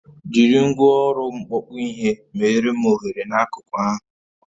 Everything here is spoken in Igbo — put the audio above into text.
Jiri ngwaọrụ mkpọkpụ ihe meere m oghere n'akụkụ ahụ